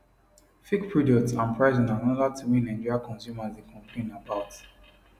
fake products and pricing na anoda tin wey nigeria consumers dey complain about